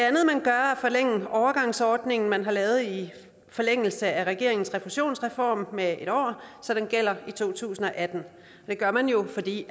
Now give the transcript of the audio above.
forlænge overgangsordningen man har lavet i forlængelse af regeringens refusionsreform med en år så den gælder i to tusind og atten det gør man jo fordi